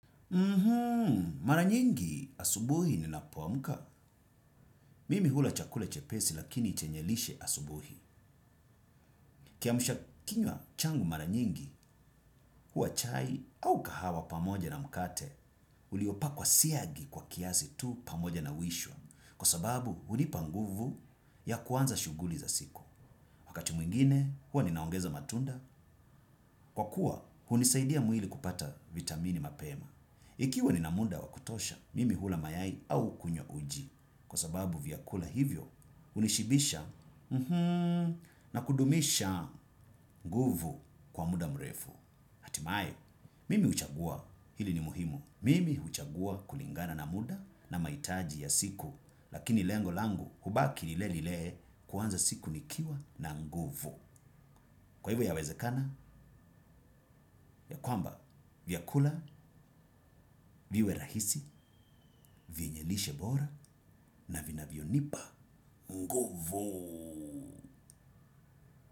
Mara nyingi asubuhi ninapoamka. Mimi hula chakula chepesi lakini chenye lishe asubuhi. Kiamsha kinywa changu mara nyingi huwa chai au kahawa pamoja na mkate, uliopakwa siagi kwa kiasi tu pamoja na wishwa. Kwa sababu hunipa nguvu ya kuanza shuguli za siku. Wakati mwingine hua ninaongeza matunda, kwa kuwa hunisaidia mwili kupata vitamini mapema. Ikiwa nina muda wa kutosha, mimi hula mayai au kunywa uji. Kwa sababu vyakula hivyo, hunishibisha na kudumisha nguvu kwa muda mrefu. Hatimaye, mimi huchagua hili ni muhimu. Mimi huchagua kulingana na muda na mahitaji ya siku, lakini lengo langu hubaki lile lile kuanza siku nikiwa na nguvu. Kwa hivyo yawezekana ya kwamba vyakula, viwe rahisi, vyenye lishe bora na vinavyonipa nguvu.